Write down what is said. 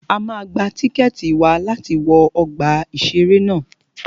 A máa gba tíkẹ̀tì wa láti wọ ọgbà ìṣẹ̀rẹ́ ná.